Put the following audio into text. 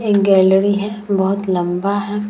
एक गैलरी है बहुत लम्बा है ।